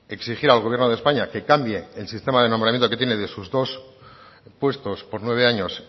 exigir al gobierno de españa que cambie el sistema de nombramiento que tiene de sus puestos por nueve años